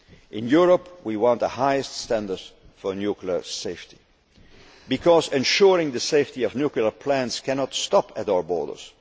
necessary. In Europe, we want the highest standard for nuclear safety, because ensuring the safety of nuclear plants cannot stop at our